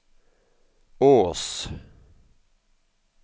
Ås